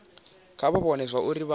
kha vha vhone zwauri vha